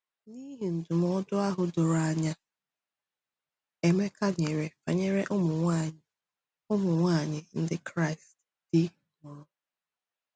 N’ihi ndụmọdụ ahụ doro anya Emeka nyere banyere ụmụ nwanyị ụmụ nwanyị Ndị Kraịst di nwụrụ.